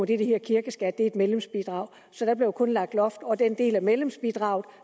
det der hedder kirkeskat er et medlemsbidrag så der bliver kun lagt loft over den del af medlemsbidraget